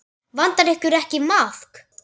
Vantar ykkur ekki maðk?